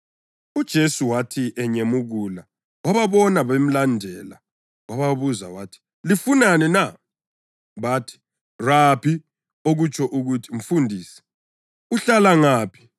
UJesu wathi enyemukula wababona bemlandela, wababuza wathi, “Lifunani na?” Bathi, “Rabi” (okutsho ukuthi “Mfundisi”), “uhlala ngaphi?”